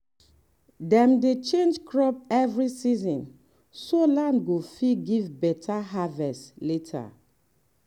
dem dey change crop every season so land go fit give better harvest later.